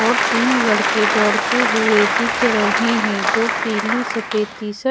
और तीन लड़के दोड़ते हुए दिख रहे है दो पीली सफेद टी-शर्ट --